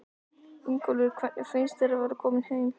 Ingólfur: Hvernig finnst þér að vera kominn heim?